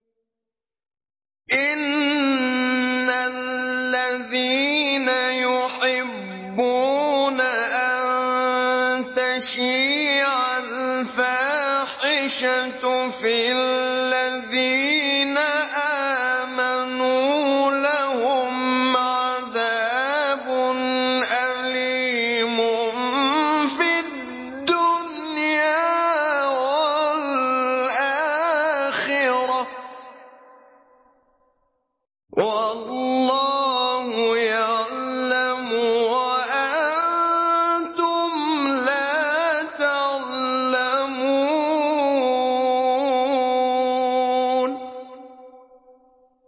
إِنَّ الَّذِينَ يُحِبُّونَ أَن تَشِيعَ الْفَاحِشَةُ فِي الَّذِينَ آمَنُوا لَهُمْ عَذَابٌ أَلِيمٌ فِي الدُّنْيَا وَالْآخِرَةِ ۚ وَاللَّهُ يَعْلَمُ وَأَنتُمْ لَا تَعْلَمُونَ